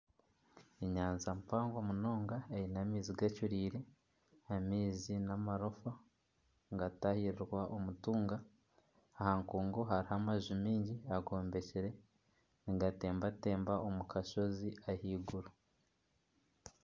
Enyanja mpango munonga eine amaizi gacureire. Amaizi namarofa nigatahirirwa omutuunga , aha nkungu haruho amaju maingi agombekyire nigatembatemba omu kashozi ahaiguru.